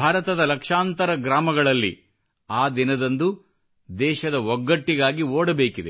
ಭಾರತದ ಲಕ್ಷಾಂತರ ಗ್ರಾಮಗಳಲ್ಲಿ ಆ ದಿನದಂದು ದೇಶದ ಒಗ್ಗಟ್ಟಿಗಾಗಿ ಓಡಬೇಕಿದೆ